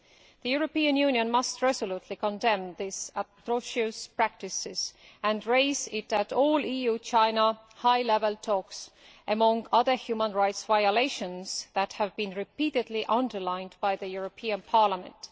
The European Union must resolutely condemn this atrocious practice and raise it at all EU China high level talks, among the other human rights violations that have been repeatedly underlined by the European Parliament.